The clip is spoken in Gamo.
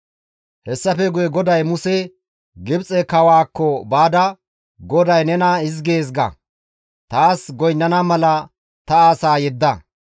Hessafe guye GODAY Muse, «Gibxe kawaakko baada, ‹GODAY nena hizgees ga; taas goynnana mala ta asaa yedda;